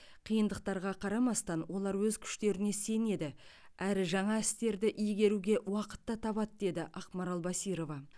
қиындықтарға қарамастан олар өз күштеріне сенеді әрі жаңа істерді игеруге уақыт та табады деді ақмарал басирова